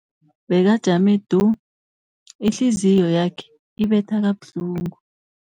Bekajame du, ihliziyo yakhe ibetha kabuhlungu.